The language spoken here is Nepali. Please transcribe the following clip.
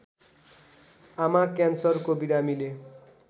आमा क्यान्सरको बिरामीले